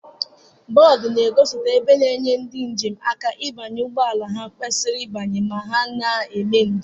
Bọdụ ngozipụta ebe na-enye ndị njem aka ịbanye ụgbọ ala ha kwesiri ịbanye ma ha n'eme njem.